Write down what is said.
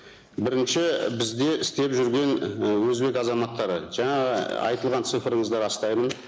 бірінші і бізде істеп жүрген і өзбек азаматтары жаңағы айтылған цифріңізді растаймын